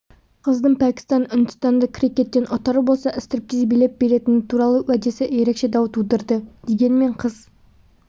қыздың пәкістан ұндістанды крикеттен ұтар болса стриптиз билеп беретіні туралы уәдесі ерекше дау тудырды дегенмен қыз